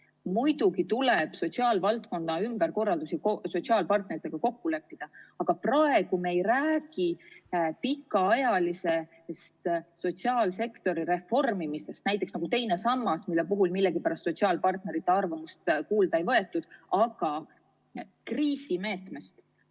Muidugi tuleb sotsiaalvaldkonna ümberkorraldustes sotsiaalpartneritega kokku leppida, aga praegu me ei räägi pikaajalisest sotsiaalsektori reformimisest, nagu oli teise samba, mille puhul millegipärast sotsiaalpartnerite arvamust kuulda ei võetud, vaid kriisimeetmest.